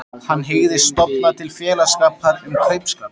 Hann hygðist stofna til félagsskapar um kaupskap.